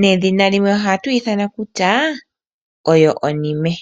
Nedhina limwe ohatu yi ithana kutya oyo onime.